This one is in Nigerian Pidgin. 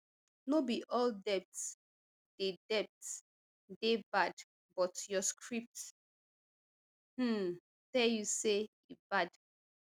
no be all debt dey debt dey bad but your script um tell you say e bad